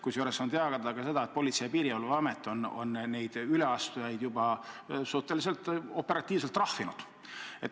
Kusjuures on teada ka seda, et Politsei- ja Piirivalveamet on neid üleastujaid juba suhteliselt operatiivselt trahvinud.